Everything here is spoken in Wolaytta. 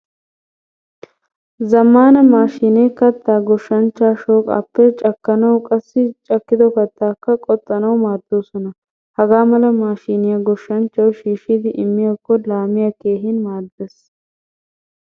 Zammaana maashine katta goshshanchcha shooqappe cakkanawu qassi cakkido kattaka qoxxanawu maaddoosona. Hagaa mala maashiniyaa goshshanchchawu shiishidi immiyakko laamiyaa keehin maaddees.